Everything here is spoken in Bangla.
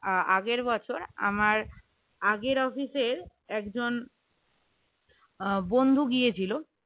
আগের বছর আমার আগের office এর একজন আহ বন্ধু গিয়েছিল